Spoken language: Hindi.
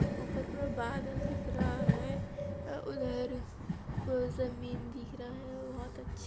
ऊपर पूरा बादल दिख रहा है अ उधर पूरा ज़मीन दिख रहा है बहोत अछ--